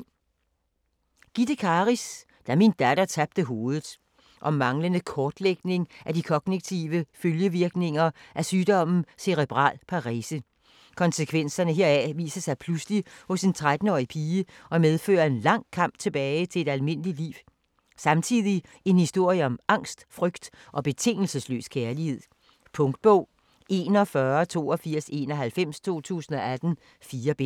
Karis, Gitte: Da min datter tabte hovedet Om manglende kortlægning af de kognitive følgevirkninger af sygdommen Cerebral Parese. Konsekvenserne heraf viser sig pludselig hos en 13-årig pige og medfører en lang kamp tilbage til et almindeligt liv. Samtidig en historie om angst, frygt og betingelsesløs kærlighed. Punktbog 418291 2018. 4 bind.